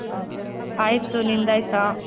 ಆಯಿತು.ನಿಂದಾಯ್ತಾ?